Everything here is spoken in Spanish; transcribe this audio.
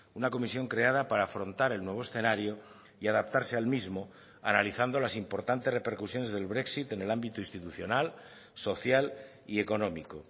una comisión creada para afrontar el nuevo escenario y adaptarse al mismo analizando las importantes repercusiones del brexit en el ámbito institucional social y económico